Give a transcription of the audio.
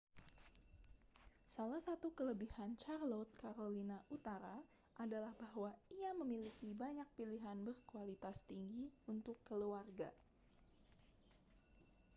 salah satu kelebihan charlotte carolina utara adalah bahwa ia memiliki banyak pilihan berkualitas tinggi untuk keluarga